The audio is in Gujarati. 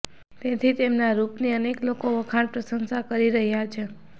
તેથી તેમના રૂપની અનેક લોકો વખાણ પ્રશંસા કરી રહ્યાં છે